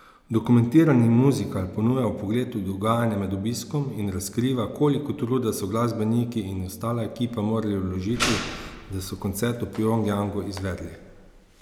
Dokumentarni muzikal ponuja vpogled v dogajanje med obiskom in razkriva, koliko truda so glasbeniki in ostala ekipa morali vložiti, da so koncert v Pjongjangu izvedli.